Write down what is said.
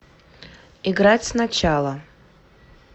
играть сначала